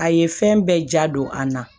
A ye fɛn bɛɛ ja don a na